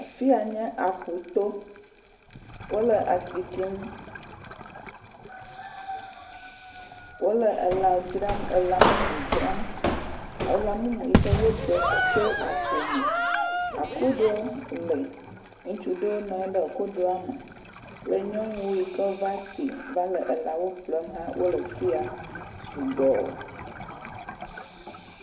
Afi ya nye aƒuto, wole asi ɖim, wole elã dzram, elã mumu dzram, elã mumu yike woɖe tso aƒu me, akuɖo le, ŋutsu ɖewo nɔ anyi ɖe akuɖoa me, le nyɔnuwo aɖe yike va si va le elãwo ƒlem hã wole fi ya sugbɔ .